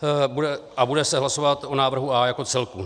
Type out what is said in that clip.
A bude se hlasovat o návrhu A jako celku.